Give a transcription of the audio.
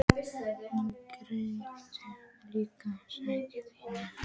Nú græt ég líka og sakna þín.